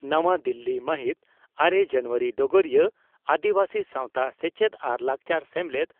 ᱱᱟᱣᱟ ᱫᱤᱞᱤ ᱢᱟᱦᱤᱛ ᱟᱨᱮ ᱡᱟᱱᱩᱣᱟᱨᱤ (ᱰᱚᱜᱚᱨᱤᱭᱟᱹ) ᱺ ᱟᱹᱫᱤᱵᱟᱹᱥᱤ ᱥᱟᱣᱛᱟ ᱥᱮᱪᱮᱫ ᱟᱨ ᱞᱟᱠᱪᱟᱨ ᱥᱮᱢᱞᱮᱫ